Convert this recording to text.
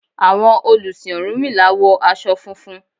Àwọn olùsìn ọ̀rúnmìlà wọ aṣọ funfun.